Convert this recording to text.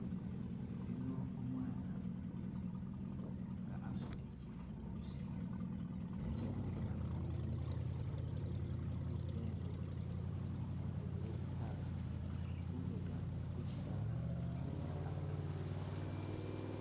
Yuno umwana nga asudile chifulusi oba chebunyasi kumutwe ali kuza ingo ali kunzila yelitaaka lubega kuchisaala namufeli abowele chisaala kyene kyosi.